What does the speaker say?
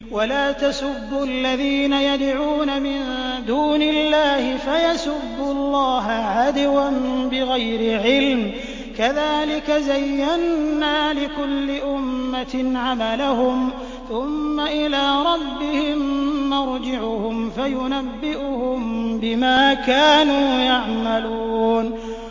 وَلَا تَسُبُّوا الَّذِينَ يَدْعُونَ مِن دُونِ اللَّهِ فَيَسُبُّوا اللَّهَ عَدْوًا بِغَيْرِ عِلْمٍ ۗ كَذَٰلِكَ زَيَّنَّا لِكُلِّ أُمَّةٍ عَمَلَهُمْ ثُمَّ إِلَىٰ رَبِّهِم مَّرْجِعُهُمْ فَيُنَبِّئُهُم بِمَا كَانُوا يَعْمَلُونَ